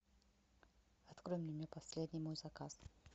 открой меню последний мой заказ